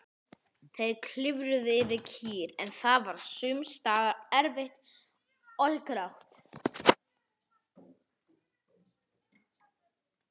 Þeir klifruðu yfir, en það var sums staðar erfitt og hált.